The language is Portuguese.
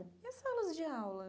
E as salas de aula?